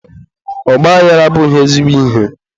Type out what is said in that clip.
ọgbaaghara abụghị ezigbo ihe.